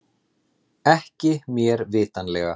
Ekki mér vitanlega